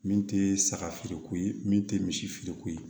Min tɛ saga feereko ye min tɛ misi feereko ye